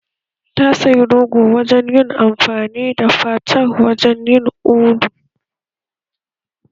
Ta sayi rogo dan son ayi amfani da fatar wajen yin ulu